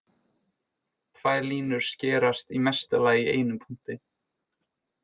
Tvær línur skerast í mesta lagi í einum punkti.